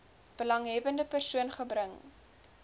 belanghebbende persoon gebring